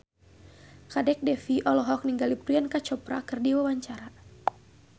Kadek Devi olohok ningali Priyanka Chopra keur diwawancara